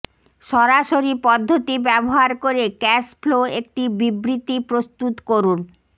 সরাসরি পদ্ধতি ব্যবহার করে ক্যাশ ফ্লো একটি বিবৃতি প্রস্তুত করুন